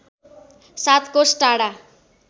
७ कोष टाढा